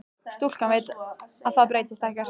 Stúlkan veit að það breytist ekkert.